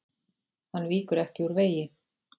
Hann víkur ekki úr vegi.